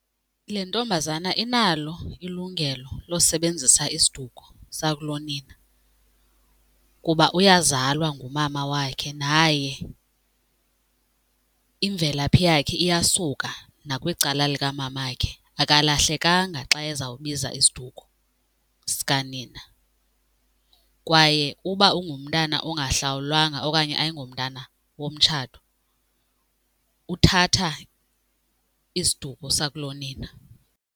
Le ntombazana inalo ilungelo losebenzisa isiduko sakulonina kuba uyazalwa ngumama wakhe naye imvelaphi yakhe iyasuka nakwicala likamamakhe. Akalahlekanga xa ezawubiza isiduko sikanina kwaye uba ungumntana ongahlawulwanga okanye ayingomntana womtshato uthatha isiduko sakulonina.